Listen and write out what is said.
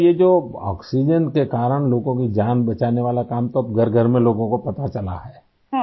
تو بیٹایہ جو آکسیجن کی وجہ سے لوگوں کی جان بچانے والا کام ، تو اب گھر گھر میں لوگوں کو پتہ چل گیا ہے